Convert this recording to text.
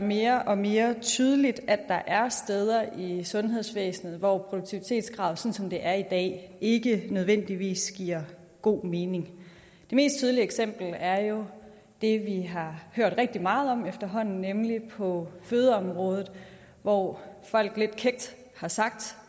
mere og mere tydeligt at der er steder i sundhedsvæsenet hvor produktivitetskravet sådan som det er i dag ikke nødvendigvis giver god mening det mest tydelige eksempel er jo det vi har hørt rigtig meget om efterhånden nemlig på fødeområdet hvor folk lidt kækt har sagt